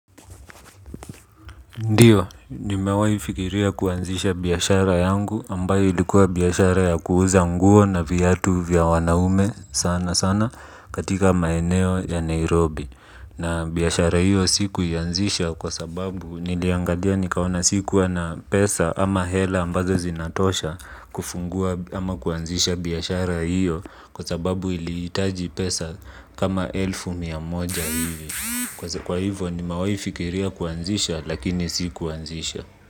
Ndiyo, nimewahi fikiria kuanzisha biashara yangu ambayo ilikuwa biashara ya kuuza nguo na viatu vya wanaume sana sana katika maeneo ya Nairobi. Na biashara hiyo sikuianzisha kwa sababu niliangalia nikaona sikua na pesa ama hela ambazo zinatosha kufungua ama kuanzisha biashara hiyo kwa sababu ilihitaji pesa kama elfu miamoja hivi. Kwa hivyo nimewahi fikiria kuanzisha lakini sikuwahi kuanzisha.